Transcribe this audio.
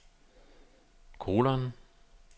kolon